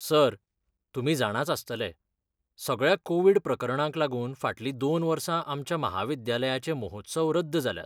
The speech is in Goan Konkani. सर, तुमी जाणाच आसतले, सगळ्या कोविड प्रकरणांक लागून फाटलीं दोन वर्सां आमच्या म्हाविद्यालयाचें महोत्सव रद्द जाल्यात.